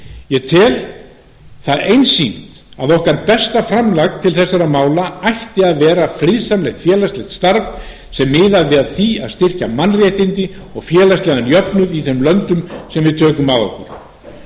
ég tel einsýnt að besta framlag okkar til þessara mála ætti að vera friðsamlegt félagslegt starf sem miðaði að því að styrkja mannréttindi og félagslegan jöfnuð í þeim löndum sem við tökum að okkur